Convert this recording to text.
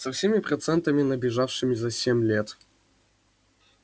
со всеми процентами набежавшими за семь лет